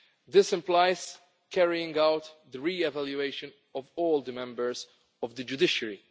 This implies carrying out the re evaluation of all the members of the judiciary.